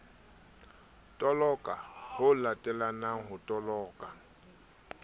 toloka ho latelanang ho toloka